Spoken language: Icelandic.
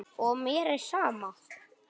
Og mér er sama.